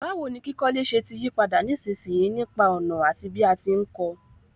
Báwoni kíkọ́lé se ti yípadà nísinsìyí nípa ònà àti bí a ti n ko